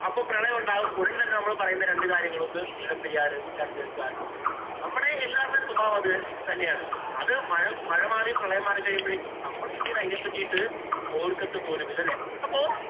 അപ്പൊ പ്രളയം ഉണ്ടാകും. ഉടന്‍ തന്നെ നമ്മള് പറയുന്ന രണ്ടു കാര്യങ്ങള് ഒന്ന് മുല്ലപ്പെരിയാര്‍, രണ്ടു ഗാഡ്ഗില്. നമ്മടെ എല്ലാവരുടെയും സ്വഭാവം അത് തന്നെയാണ്. അത് മഴ~മഴമാറി പ്രളയം മാറിക്കഴിയുമ്പോഴേക്കും നമ്മള് പിന്നീടു അതിനെ പറ്റീട്ട് ഓര്‍ക്കത്ത് പോലുമില്ല. ഇല്ലേ? അപ്പോ